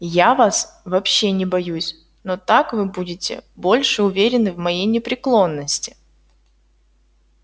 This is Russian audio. я вас вообще не боюсь но так вы будете больше уверены в моей непреклонности